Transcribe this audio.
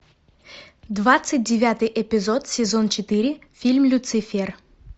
двадцать девятый эпизод сезон четыре фильм люцифер